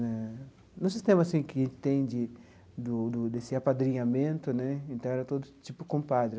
Né no sistema assim que tem de do do desse apadrinhamento né, então era todo tipo compadre.